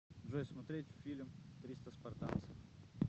джой смотреть фильм триста спартанцев